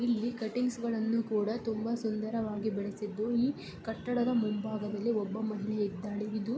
ಇಲ್ಲಿ ಕಟಿಂಗ್ಸ್ ಗಳನ್ನು ಕೂಡ ತುಂಬಾ ಸುಂದರವಾಗಿ ಬೆಳೆಸಿದ್ದು ಈ ಕಟ್ಟಡದ ಮುಂಬಾಗದಲ್ಲಿ ಒಬ್ಬ ಮಹಿಳೆ ಇದ್ದಾಳೆ.